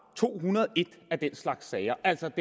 to hundrede og en af den slags sager altså